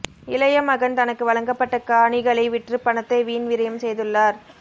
இளைய மகன் தனக்கு வழங்கப்பட்ட காணிகளை விற்று பணத்தை வீண் விரயம் செய்துள்ளார்